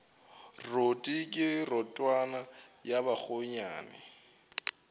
roto ke rotwane ya bakgonyana